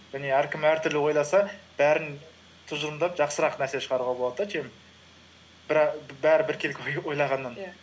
және әркім әртүрлі ойласа бәрін тұжырымдап жақсырақ нәрсе шығаруға болады да чем бәрі біркелкі ойлағаннан иә